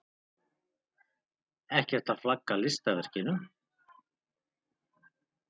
Ekkert að flagga listaverkinu.